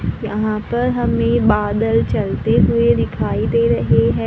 यहां पर हमें बादल चलते हुए दिखाई दे रहे हैं।